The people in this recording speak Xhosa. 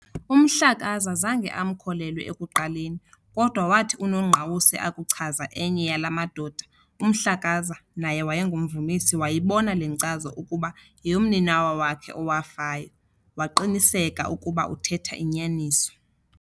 UMhlakaza zange amkholelwe ekuqaleni kodwa wathi uNongqawuse akuchaza enye yala madoda, uMhlakaza, naye wayengumvumisi, wayibona le nkcazo ukuba yeyomninawa wakhe owafayo, waqiniseka ukuba uthetha inyaniso.